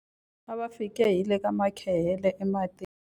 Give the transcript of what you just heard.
A va fike hi le ka makhehele ematini.